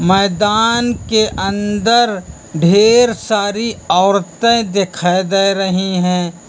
मैदान के अंदर ढेर सारी औरते दिखाई दे रही हैं।